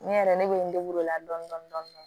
Ne yɛrɛ ne bɛ n o la dɔni dɔni dɔni